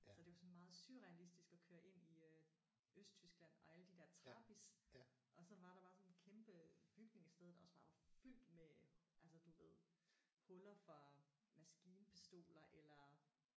Så det var sådan meget surrealistisk at køre ind i øh Østtyskland og alle de der Trabis og så var der bare sådan en kæmpe bygning et sted der også bare var fyldt med altså du ved huller fra maskinpistoler eller